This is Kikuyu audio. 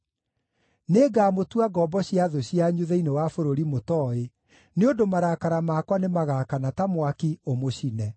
Nĩngamũtua ngombo cia thũ cianyu thĩinĩ wa bũrũri mũtooĩ, nĩ ũndũ marakara makwa nĩmagaakana ta mwaki, ũmũcine.”